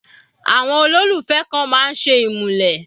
Àwọn olólùfẹ́ kan máa ń ṣe ìmúlẹ̀.